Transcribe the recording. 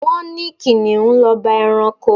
Wọ́n ní Kìnnìún l'ọba ẹranko.